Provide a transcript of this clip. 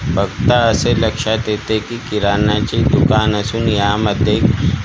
बघता असे लक्षात येते की किराणाचे दुकान असून यामध्ये--